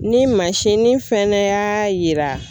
Ni mansinnin fɛnɛ y'a yira